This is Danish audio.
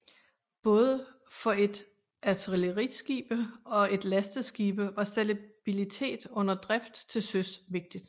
Både for et artilleriskibe og et lasteskibe var stabilitet under drift til søs vigtig